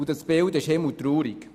Das Bild ist himmeltraurig.